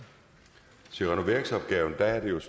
at have